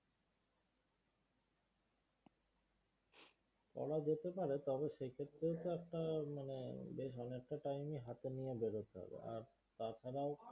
করা যেতে পারে তবে সেক্ষেত্রে তো একটা মানে বেশ ভালো একটা time হাতে নিয়ে বেরোতে হবে আর তাছাড়াও